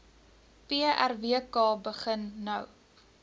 prwk begin nou